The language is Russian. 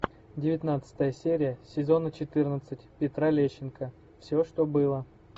девятнадцатая серия сезона четырнадцать петра лещенко все что было